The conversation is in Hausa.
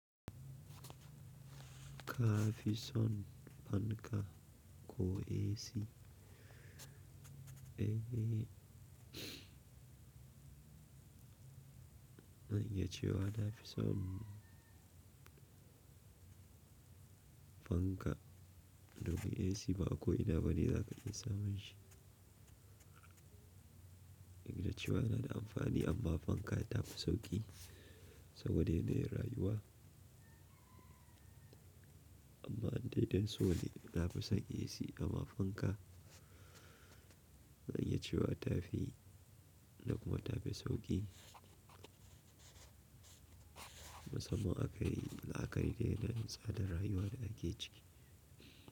Ka fi son fanka ko AC? Zan iya cewa na fi son fanka, domin AC ba a ko ina bane za ka iya samun shi. Duk da cewa yana da amfani amma fanka ta fi sauƙi saboda yanayin rayuwa. Amma in dai dan so ne na fi sauƙi AC amma fanka na iya cewa ta fi, da kuma ta fi sauƙi. Musamman akayi la'aƙari da yanayin tsadar rayuwa da ake ciki.